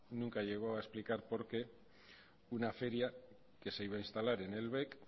unca llegó a explicar por qué una feria que se iba a instalar en el bec